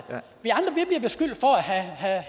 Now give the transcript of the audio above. have